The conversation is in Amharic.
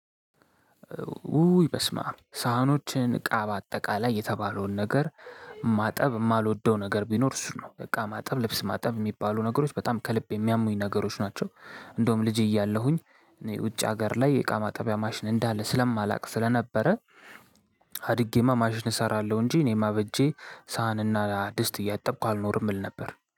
ውይ በስማ ሳህኖችን እቃ በአጠቃላይ የተባለውን ነገር ማጠብ የማልወደው ነገር ቢኖር እሱ ነው እቃ ማጠብ ልብስ ማጠብ የሚባሉ ነገሮች በጣም ከልብ የሚያሙኝ ነገሮች ናቸው። እንደውም ልጄ እያለሁኝ ውጭ ሀገር ላይ የእቃ ማጠቢያ ማሽን እንዳለ ስለማላውቅ ስለነበረ። አድጌማ ማሽን እሰራለሁ እንጂ እኔማ በእጄ ሳህንና ድስት እያጠቅኩ አልኖርም እል ነበር